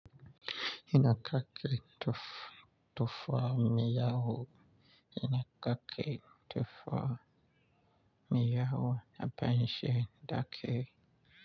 Yana kake tuf-tufa miyahu, ina kake tuf-tufa miyahu na farin shani dake.